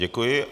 Děkuji.